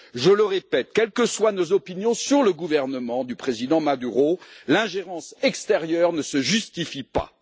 Je le répète, quelles que soient nos opinions sur le gouvernement du Président Maduro, l'ingérence extérieure ne se justifie pas.